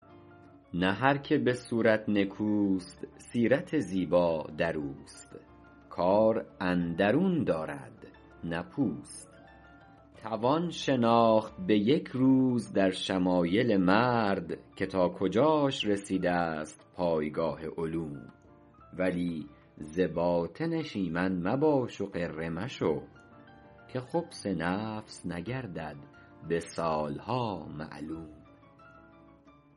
نه هر که به صورت نکوست سیرت زیبا در اوست کار اندرون دارد نه پوست توان شناخت به یک روز در شمایل مرد که تا کجاش رسیده ست پایگاه علوم ولی ز باطنش ایمن مباش و غره مشو که خبث نفس نگردد به سالها معلوم